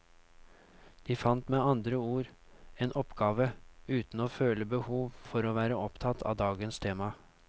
De fant med andre ord en oppgave, uten å føle behov for å være opptatt av dagens tema.